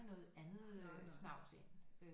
Noget andet øh snavs ind